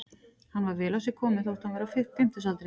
Hann var vel á sig kominn þótt hann væri á fimmtugsaldri.